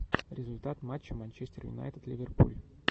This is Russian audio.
результат матча манчестер юнайтед ливерпуль